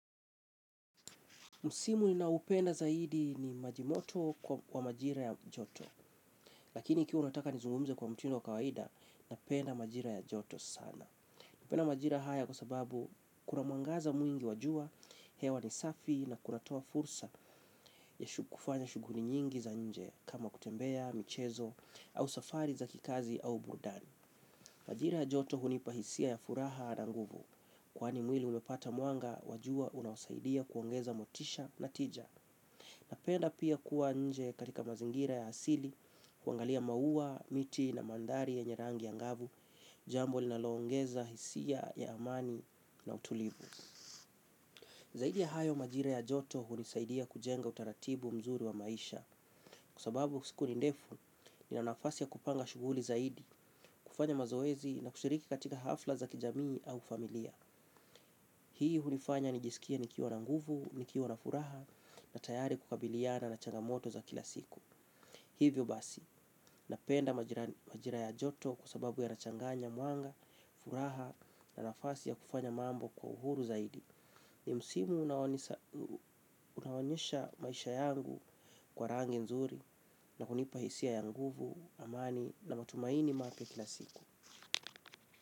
Msimu ninaoupenda zaidi ni majimoto kwa majira ya joto, lakini ikiwa unataka nizungumize kwa mtindo wa kawaida napenda majira ya joto sana. Napenda majira haya kwa sababu kuna mwangaza mwingi wa jua, hewa ni safi na kunatoa fursa ya kufanya shughuli nyingi za nje kama kutembea, michezo, au safari za kikazi au burudani. Majira joto hunipa hisia ya furaha na nguvu. Kwani mwili unapata mwanga wa jua unaosaidia kuongeza motisha na tija. Napenda pia kuwa nje katika mazingira ya asili, kuangalia maua, miti na mandhari yenye rangi ya ngavu, jambo linalongeza hisia ya amani na utulivu. Zaidi ya hayo majira ya joto hunisaidia kujenga utaratibu mzuri wa maisha kwa sababu siku ni ndefu nina nafasi ya kupanga shughuli zaidi, kufanya mazoezi na kushiriki katika hafla za kijamii au familia. Hii hunifanya nijisikie kuwa na nguvu, nikiwa na furaha na tayari kukabiliana na changamoto za kila siku. Hivyo basi, napenda majira ya joto kwa sababu yanachanganya mwanga, furaha na nafasi ya kufanya mambo kwa uhuru zaidi. Ni msimu unaonyesha maisha yangu kwa rangi nzuri na kunipa hisia ya nguvu, amani na matumaini mapya kila siku.